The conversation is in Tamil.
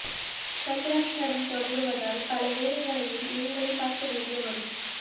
சந்திராஷ்டமம் தொடங்குவதால் பல வேலைகளையும் நீங்களே பார்க்க வேண்டி வரும்